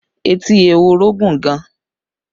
Etí ehoro gùn gan